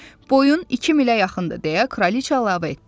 Boyun iki milə yaxındır deyə Kraliça əlavə etdi.